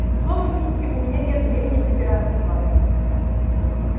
словом питти у меня нет времени препираться с вами